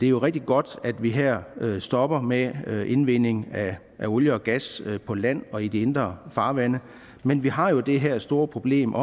jo rigtig godt at vi her stopper med indvinding af olie og gas på land og i de indre farvande men vi har jo det her store problem